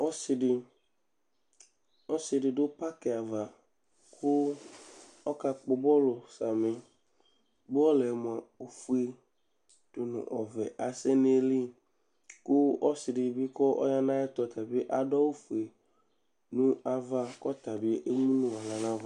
ɔsɩdɩ dʊ kpafo ava kʊ ɔka kpɔ bɔlʊ samɩ bɔlʊ yɛ moa ofʊe dʊ nʊ ɔvɛ ɔdʊ eyɩlɩ kʊ ɔsɩ dɩbɩ adʊ awʊ ɔfʊe ɔya kʊ ɔka sʊ ɛsɛ